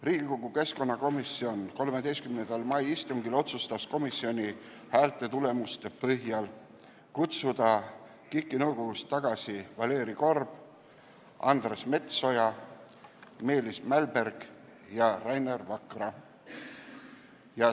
Riigikogu keskkonnakomisjon otsustas 13. mai istungil toimunud hääletuse tulemuste põhjal kutsuda KIK-i nõukogust tagasi Valeri Korb, Andres Metsoja, Meelis Mälberg ja Rainer Vakra.